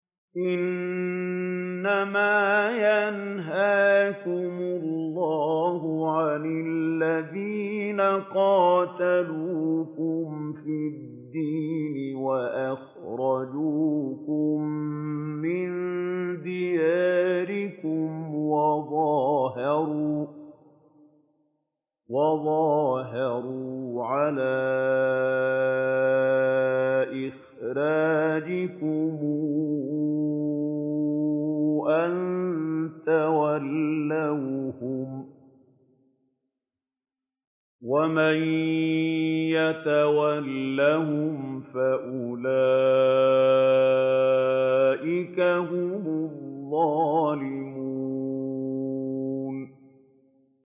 إِنَّمَا يَنْهَاكُمُ اللَّهُ عَنِ الَّذِينَ قَاتَلُوكُمْ فِي الدِّينِ وَأَخْرَجُوكُم مِّن دِيَارِكُمْ وَظَاهَرُوا عَلَىٰ إِخْرَاجِكُمْ أَن تَوَلَّوْهُمْ ۚ وَمَن يَتَوَلَّهُمْ فَأُولَٰئِكَ هُمُ الظَّالِمُونَ